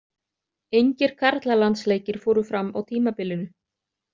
Engir karlalandsleikir fóru fram á tímabilinu.